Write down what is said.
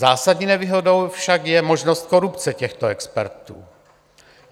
Zásadní nevýhodou však je možnost korupce těchto expertů.